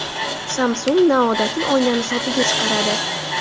Samsung noodatiy oynani sotuvga chiqaradi .